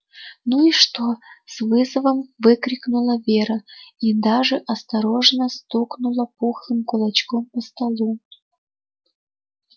ну и что с вызовом выкрикнула вера и даже осторожно стукнула пухлым кулачком по столу